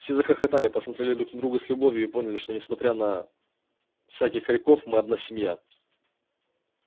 все захохотали посмотрели друг на друга с любовью и поняли что несмотря на всяких хорьков мы одна семья